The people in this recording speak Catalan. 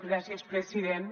gràcies president